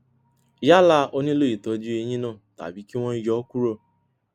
yálà ó nílò ìtọjú eyín náà tàbí kí wọn yọ ọ kúrò